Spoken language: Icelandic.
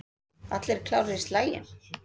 Allir klárir í slaginn?